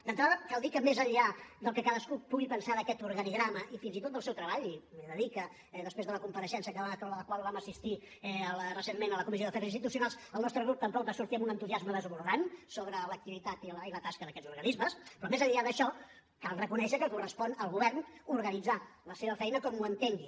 d’entrada cal dir que més enllà del que cadascú pugui pensar d’aquest organigrama i fins i tot del seu treball i he de dir que després de la compareixença a la qual vam assistir recentment a la comissió d’afers institucionals el nostre grup tampoc va sortir amb un entusiasme desbordant sobre l’activitat i la tasca d’aquests organismes però més enllà d’això cal reconèixer que correspon al govern organitzar la seva feina com ho entengui